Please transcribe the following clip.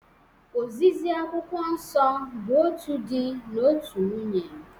Ozizi Akwụkwọ Nsọ bụ otu di na otu nwunye